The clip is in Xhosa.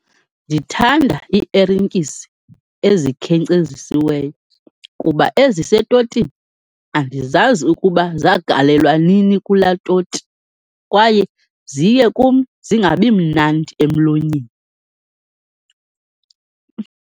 Ndithanda iiertyisi ezikhenkcezisiweyo kuba ezisetotini andizazi ukuba zagalelwa nini kulaa toti, kwaye ziye kum zingabi mnandi emlonyeni.